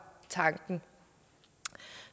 tanken